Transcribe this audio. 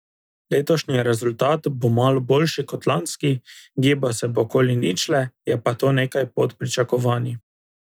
Letošnji rezultat bo malo boljši kot lanski, gibal se bo okoli ničle, je pa to nekaj pod pričakovanji.